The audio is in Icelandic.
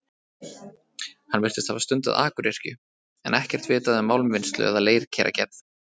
Hann virtist hafa stundað akuryrkju, en ekkert vitað um málmvinnslu eða leirkeragerð.